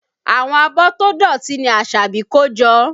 Àwọn abọ́ tó dọ̀tí ni Asabi kó jọ